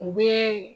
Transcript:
U bɛ